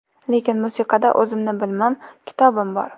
Lekin musiqada o‘zimni bilimim, kitobim bor.